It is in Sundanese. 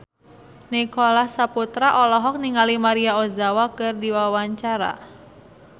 Nicholas Saputra olohok ningali Maria Ozawa keur diwawancara